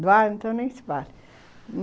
Eduardo, então, nem se vale.